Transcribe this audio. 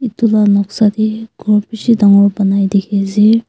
etu lah noksa teh ghor bishi dangor banai dikhi ase.